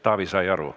Taavi sai aru.